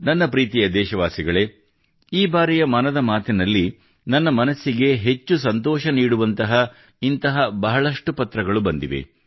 ನನ್ನ ಪ್ರೀತಿಯ ದೇಶವಾಸಿಗಳೇ ಈ ಬಾರಿಯ ಮನದ ಮಾತಿನಲ್ಲಿ ನನ್ನ ಮನಸ್ಸಿಗೆ ಹೆಚ್ಚಿನ ಸಂತೋಷ ನೀಡುವಂತಹ ಇಂತಹ ಬಹಳಷ್ಟು ಪತ್ರಗಳು ಬಂದಿವೆ